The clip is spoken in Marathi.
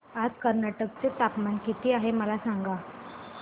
आज कर्नाटक चे तापमान किती आहे मला सांगा